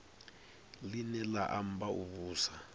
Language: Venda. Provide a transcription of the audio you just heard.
line la amba u vhusa